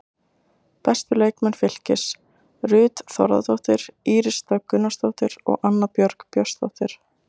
Bestu leikmenn Fylkis: Ruth Þórðardóttir, Íris Dögg Gunnarsdóttir og Anna Björg Björnsdóttir.